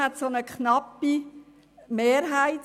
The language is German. Deshalb gab es eine knappe Mehrheit.